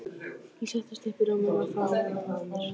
Ég settist upp í rúminu og faðmaði hana að mér.